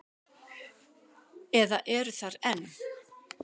Eða eru þar enn.